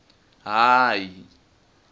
hayi